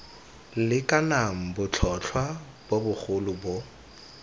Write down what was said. lekanang botlhotlhwa bo bogolo bo